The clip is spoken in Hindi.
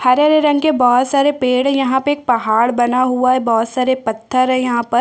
हरे-हरे रंग के बहोत सारे पेड़ है यहाँ पे एक पहाड़ बना हुआ है बहोत सारे पत्थर है यहाँ पर--